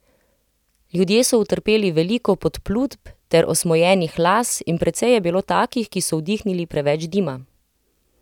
Ljudje so utrpeli veliko podplutb ter osmojenih las in precej je bilo takih, ki so vdihnili preveč dima.